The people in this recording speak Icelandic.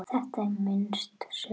Þetta er minnst sök.